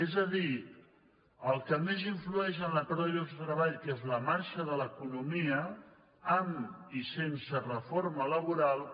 és a dir el que més influeix en la pèrdua de llocs de treball que és la marxa de l’economia amb i sense reforma laboral